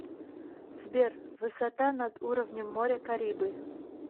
сбер высота над уровнем моря карибы